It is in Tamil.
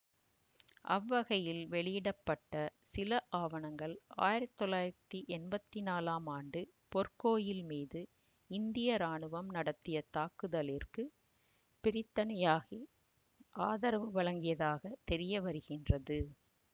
அவ்வகையில் வெளியிட பட்ட சில ஆவணங்கள் ஆயிரத்தி தொள்ளாயிரத்தி எம்பத்தி நாலாம் ஆண்டு பொற்கோயில் மீது இந்திய இராணவம் நடத்திய தாக்குதலிற்கு பிரித்தனியாகிய ஆதரவு வழங்கியதாகத் தெரியவருகின்றது